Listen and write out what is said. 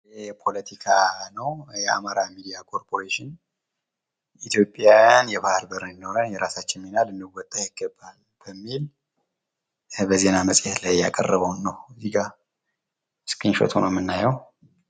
ፖለቲካ ነው ።የአማራ ሚድያ ኮርፖሬሽን ኢትዮጵያውያን የባህር በር እንዲኖራት የራሳችን ምን ልንወጣ ይገባል በሚል ዜናእየተቀረበ ነው ስክሪንሹት ሁኖ ምናየው።